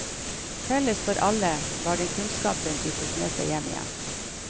Felles for alle, var den kunnskapen de tok med seg hjem igjen.